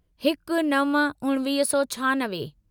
हिक नव उणिवीह सौ छहानवे